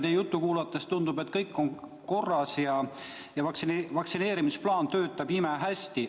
Teie juttu kuulates tundub, et kõik on korras ja vaktsineerimisplaan töötab imehästi.